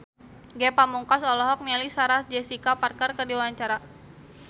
Ge Pamungkas olohok ningali Sarah Jessica Parker keur diwawancara